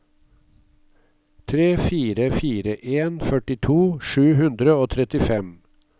tre fire fire en førtito sju hundre og trettifem